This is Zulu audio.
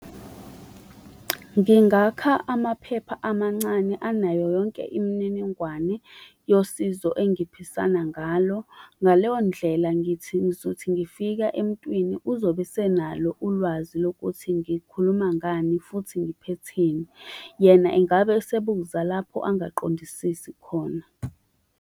Ngingaka amaphepha amancane anayo yonke imininingwane yosizo engiphisana ngalo. Ngaleyo ndlela ngithi, ngizothi ngifika emntwini uzobe esenalo ulwazi lokuthi ngikhuluma ngani futhi ngiphetheni. Yena engabe esebuza lapho angaqondisisi khona.